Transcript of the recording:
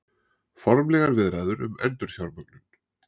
Formlegar viðræður um endurfjármögnun